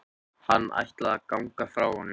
Hann ætlaði að ganga frá honum.